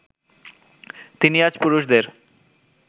তিনি আজ পুরুষদের